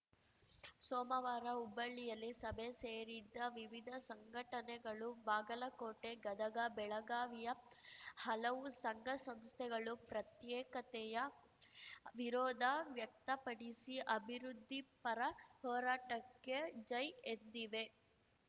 ಸೋಮವಾರ ಹುಬ್ಬಳ್ಳಿಯಲ್ಲಿ ಸಭೆ ಸೇರಿದ್ದ ವಿವಿಧ ಸಂಘಟನೆಗಳು ಬಾಗಲಕೋಟೆ ಗದಗ ಬೆಳಗಾವಿಯ ಹಲವು ಸಂಘಸಂಸ್ಥೆಗಳು ಪ್ರತ್ಯೇಕತೆಯ ವಿರೋಧ ವ್ಯಕ್ತಪಡಿಸಿ ಅಭಿವೃದ್ಧಿಪರ ಹೋರಾಟಕ್ಕೆ ಜೈ ಎಂದಿವೆ